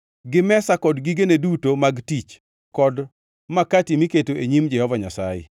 gi mesa kod gigene duto mag tich kod makati miketo e nyim Jehova Nyasaye;